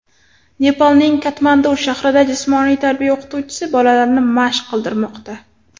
Nepalning Katmandu shahrida jismoniy tarbiya o‘qituvchisi bolalarni mashq qildirmoqda.